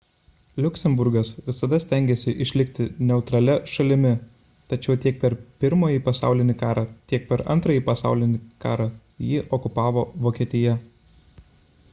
liuksemburgas visada stengėsi išlikti neutralia šalimi tačiau tiek per pirmąjį pasaulinį karą tiek per antrąjį pasaulinį karą jį okupavo vokietija